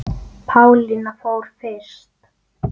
Og ekkert gerist.